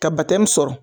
Ka sɔrɔ